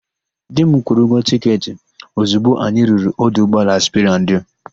Di m kwụrụ ụgwọ tịketị ozigbo anyị ruru ọdụ ụgbọala Sperandio.